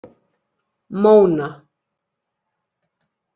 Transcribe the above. Móna